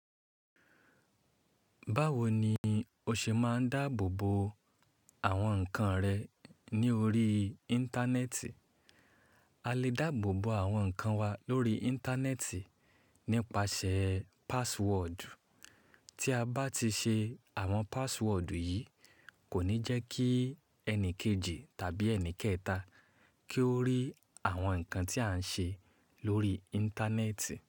Báwo ni o ṣe máa ń dáàbò bo àwọn nǹkan rẹ ní orí Íńtánẹ́ẹ̀tì? A lè dáàbò bo àwọn nǹkan wa lórí Íńtánẹ́ẹ̀tì nípasẹ̀ password. Tí a bá ti ṣe àwọn password yìí kò ní jẹ́ kí ẹni kejì tàbí ẹni kẹta kí ó rí àwọn nǹkan tí a ń ṣe lórí Íńtánẹ́ẹ̀tì.